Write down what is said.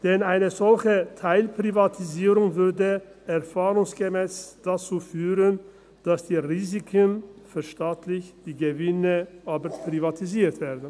Denn eine solche Teilprivatisierung führte erfahrungsgemäss dazu, dass die Risiken verstaatlicht, die Gewinne aber privatisiert werden.